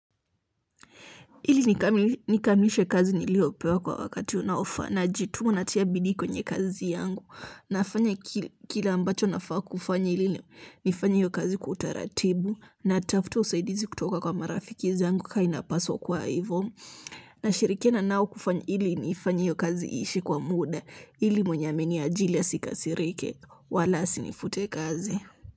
Ili nikamilishe kazi niliyopewa kwa wakati unaofaa najituma natia bidii kwenye kazi yangu nafanya kila ambacho nafaa kufanya ili nifanye hiyo kazi kwa utaratibu natafuta usaidizi kutoka kwa marafiki zangu kaa inapaswa kuwa ivo nashirikiana nao kufanya ili nifanye hiyo kazi iishe kwa muda ili mwenye ameniajili asikasirike wala asinifute kazi.